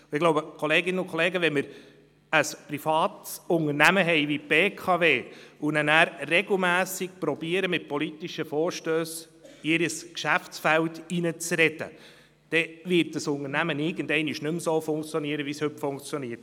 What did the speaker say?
Ich glaube, wenn wir ein privates Unternehmen wie die BKW haben und dann regelmässig mit politischen Vorstössen in ihr Geschäftsfeld hineinzureden versuchen, dann wird dieses Unternehmen irgendwann nicht mehr so funktionieren, wie es heute funktioniert.